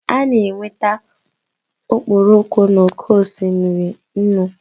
A na-enweta okporoko n'oké osimiri nnu